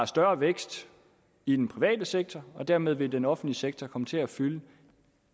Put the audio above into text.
større vækst i den private sektor og dermed vil den offentlige sektor komme til at fylde